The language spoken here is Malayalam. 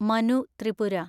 മനു ത്രിപുര